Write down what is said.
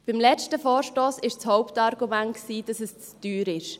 Beim letzten Vorstoss war das Hauptargument, dass es zu teuer war.